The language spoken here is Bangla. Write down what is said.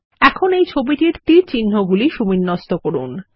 এখন এই ছবিটির তীরচিহ্নগুলি সুবিন্যস্ত করুন